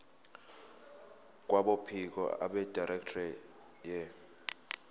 kwabophiko abedirectorate ye